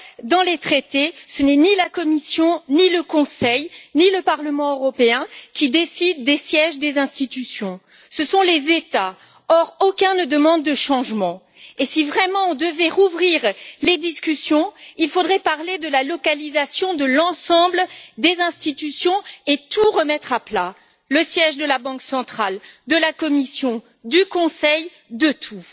Dans les traités, ce n'est ni la Commission, ni le Conseil, ni le Parlement européen qui décident des sièges des institutions ce sont les États. Or, aucun ne demande de changement et, si vraiment nous devions rouvrir les discussions, il faudrait parler de l'emplacement de l'ensemble des institutions et tout remettre à plat le siège de la Banque centrale européenne, de la Commission, du Conseil, de tout.